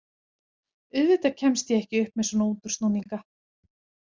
Auðvitað kemst ég ekki upp með svona útúrsnúninga.